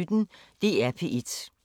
DR P1